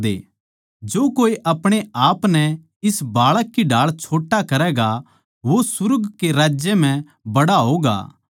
जो कोए अपणे आपनै इस बाळक की ढाळ छोट्टा करैगा वो सुर्ग कै राज्य म्ह बड्ड़ा होवैगा